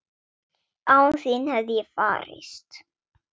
Án þín hefði ég farist?